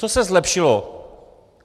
Co se zlepšilo?